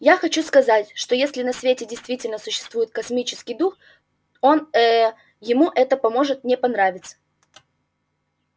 я хочу сказать что если на свете действительно существует космический дух он ээ ему это поможет не понравиться